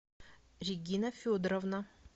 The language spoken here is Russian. регина федоровна